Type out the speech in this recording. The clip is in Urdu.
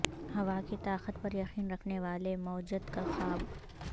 ہوا کی طاقت پر یقین رکھنے والے موجد کا خواب